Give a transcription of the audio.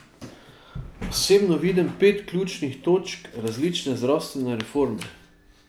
Osebno vidim pet ključnih točk resnične zdravstvene reforme.